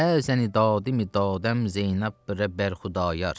Bəzəni dadəmidam Zeynəb bərə Bərxudayar.